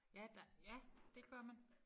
Ja der ja det gør man